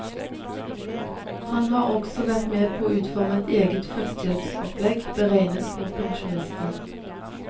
Han har også vært med på å utforme et eget førstehjelpsopplegg beregnet på pensjonister.